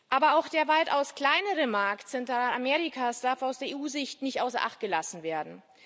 Aber auch der weitaus kleinere Markt Zentralamerikas darf aus EU Sicht nicht außer Acht gelassen werden.